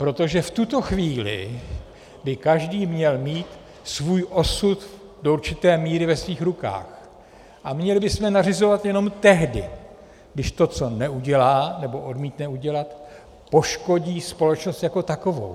Protože v tuto chvíli by každý měl mít svůj osud do určité míry ve svých rukou a měli bychom nařizovat jenom tehdy, když to, co neudělá, nebo odmítne udělat, poškodí společnost jako takovou.